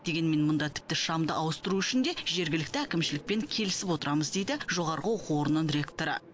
дегенмен мұнда тіпті шамды ауыстыру үшін де жергілікті әкімшілікпен келісіп отырамыз дейді жоғарғы оқу орнының ректоры